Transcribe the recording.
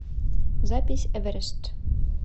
запись эверест